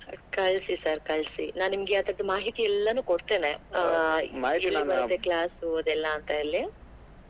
ಕಳ್ಸಿ sir ಕಳ್ಸಿ ನಾ ನಿಮ್ಗೆ ಅದರ ಮಾಹಿತಿ ಎಲ್ಲಾನೂ ಕೊಡ್ತೇನೆ ಎಲ್ಲಿ ಬರುತ್ತೆ class ಅದೆಲ್ಲಾ ಅಂತಾ ಹೇಳಿ.